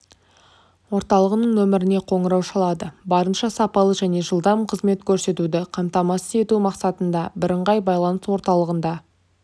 орталығының нөміріне қоңырау шалады барынша сапалы және жылдам қызмет көрсетуді қамтамасыз етумақсатында бірыңғай байланыс орталығында